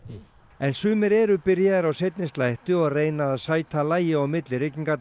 en sumir eru byrjaðir á seinni slætti og reyna að sæta lagi á milli